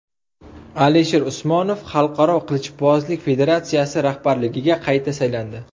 Alisher Usmonov Xalqaro qilichbozlik federatsiyasi rahbarligiga qayta saylandi.